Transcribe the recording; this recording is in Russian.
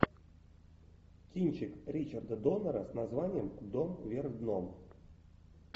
кинчик ричарда доннера с названием дом вверх дном